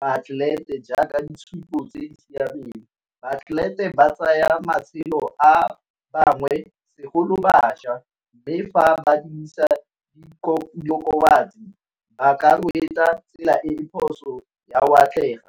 baatlelete jaaka ditshupo tse di siameng, baatlelete ba tsaya matshelo a bangwe segolo bašwa mme fa ba dirisa diokobatsi ba ka tsela e e phoso ya go atlega